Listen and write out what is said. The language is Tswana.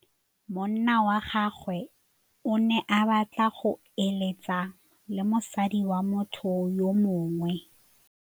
Monna wa gagwe o ne a batla go êlêtsa le mosadi wa motho yo mongwe.